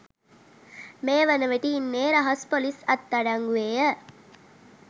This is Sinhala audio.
මේ වනවිට ඉන්නේ රහස්‌ පොලිස්‌ අත්අඩංගුවේය.